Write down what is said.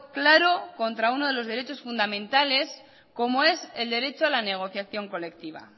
claro contra uno de los derechos fundamentales como es el derecho a la negociación colectiva